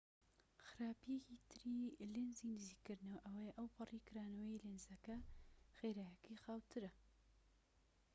خراپیەکی تری لێنزی نزیککردنەوە ئەوەیە ئەوپەڕی کرانەوەی لێنزەکە خێراییەکەی خاووترە